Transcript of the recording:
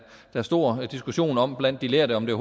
der store diskussioner om blandt de lærte og om det